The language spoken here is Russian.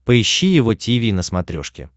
поищи его тиви на смотрешке